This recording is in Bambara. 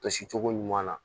Tosi cogo ɲuman na